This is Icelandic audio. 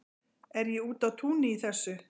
Er ég úti á túni í þessu?